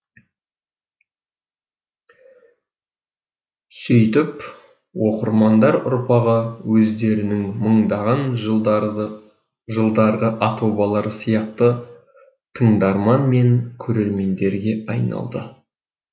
сөйтіп оқырмандар ұрпағы өздерінің мыңдаған жылдарғы жылдарғы ата бабалары сияқты тыңдарман мен көрермендерге айналады